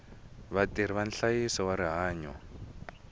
vatirhi va nhlayiso wa rihanyo